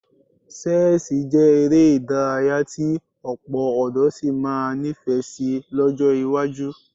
Ṣẹ́ẹ̀sì jẹ́ eré ìdárayá tí ọ̀pọ̀ ọ̀dọ́ sì máa nífẹ̀ẹ́ sí lọ́jọ́ iwájú